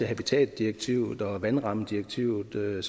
habitatdirektivet og vandrammedirektivet